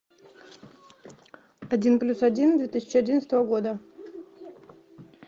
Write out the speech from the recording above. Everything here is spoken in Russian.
один плюс один две тысячи одиннадцатого года